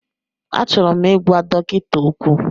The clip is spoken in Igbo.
Achọrọ m ịgwa dọkịta okwu.